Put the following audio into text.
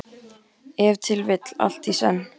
Ef til vill allt í senn.